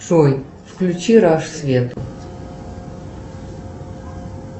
джой включи раш свет